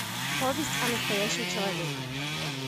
повесть о настоящем человеке